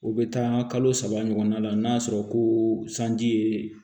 O bɛ taa kalo saba ɲɔgɔnna la n'a sɔrɔ ko sanji ye